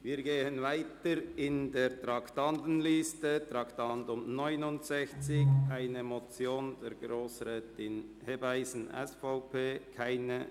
Wir gehen weiter in der Traktandenliste und kommen zum Traktandum 69, einer Motion von Grossrätin Hebeisen, SVP: